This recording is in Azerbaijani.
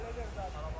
Həll edərəm də.